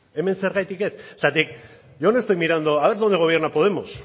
hemen zergatik ez zergatik yo no estoy mirando a ver dónde gobierna podemos